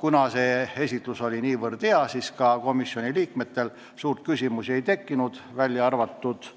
Kuna see esitlus oli niivõrd hea, siis komisjoni liikmetel eriti küsimusi ei tekkinud, välja arvatud